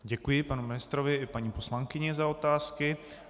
Děkuji panu ministrovi i paní poslankyni za otázky.